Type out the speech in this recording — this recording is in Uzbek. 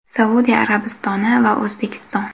Saudiya Arabistoni va O‘zbekiston.